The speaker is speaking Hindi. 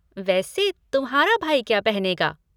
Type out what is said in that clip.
वैसे तुम्हारा भाई क्या पहनेगा?